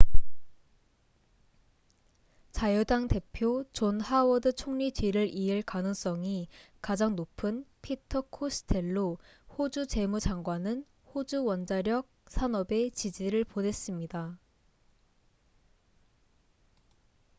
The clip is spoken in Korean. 자유당 대표 존 하워드 총리 뒤를 이을 가능성이 가장 높은 피터 코스텔로 호주 재무 장관은 호주 원자력 산업에 지지를 보냈습니다